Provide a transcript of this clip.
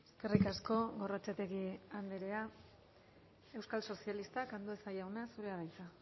eskerrik asko gorrotxategi andrea euskal sozialistak andueza jauna zurea da hitza